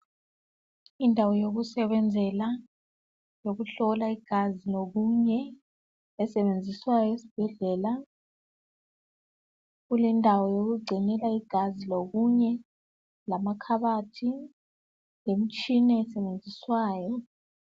indawo yoksebenzela yokuhlola igazi lokunye esebenziswayo esibhedlela kulendawo yokugcinela igazi lokunye lamakhabothi lemtshina esetshenziswayo